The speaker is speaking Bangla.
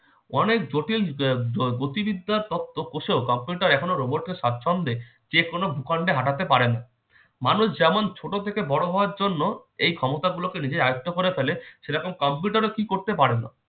অনেক জটিল গতিবিদ্যা তত্ত্ব কোষেও কম্পিউটার এখনও robot কে সাতচন্দে যেকোনো ভূখণ্ডে হাঁটাতে পারে না মানুষ যেমন ছোট থেকে বড় হওয়ার জন্য এই ক্ষমতাগুলোকে নিজের আয়ত্ত করে ফেলে সেই রকম কম্পিউটারও কি করতে পারে না